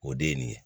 O de ye nin ye